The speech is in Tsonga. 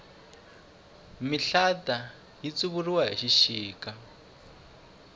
mihlata yi tsuvuriwa hi xixika